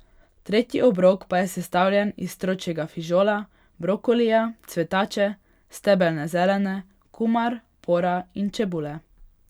Tretji obrok pa je sestavljen iz stročjega fižola, brokolija, cvetače, stebelne zelene, kumar, pora in čebule.